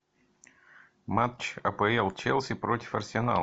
матч апл челси против арсенала